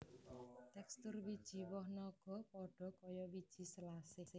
Tekstur wiji woh naga padha kaya wiji selasih